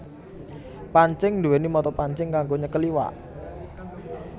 Pancing nduwèni mata pancing kanggo nyekel iwak